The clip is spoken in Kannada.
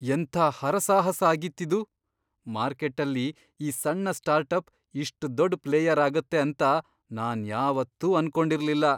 ಎಂಥ ಹರಸಾಹಸ ಆಗಿತ್ತಿದು! ಮಾರ್ಕೆಟ್ಟಲ್ಲಿ ಈ ಸಣ್ಣ ಸ್ಟಾರ್ಟಪ್ ಇಷ್ಟ್ ದೊಡ್ಡ್ ಪ್ಲೇಯರ್ ಆಗತ್ತೆ ಅಂತ ನಾನ್ ಯಾವತ್ತೂ ಅನ್ಕೊಂಡಿರ್ಲಿಲ್ಲ.